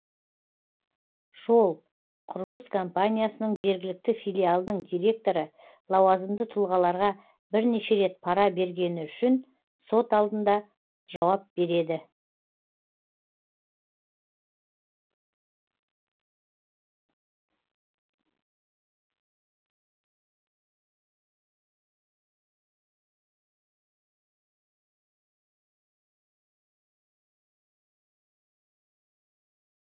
жол құрылыс компаниясының жергілікті филиалының директоры лауазымды тұлғаларға бірнеше рет пара бергені үшін сот алдында жауап береді